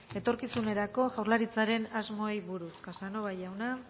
etorkizunerako jaurlaritzaren asmoei buruz casanova jauna